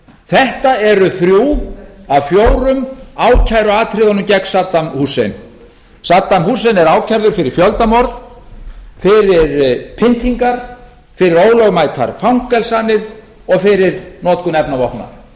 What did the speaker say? þetta eru þrjú af fjórum ákæruatriðum gegn saddam husseins saddam hussein er ákærður fyrir fjöldamorð fyrir pyntingar fyrir ólögmætar fangelsanir og fyrir notkun efnavopna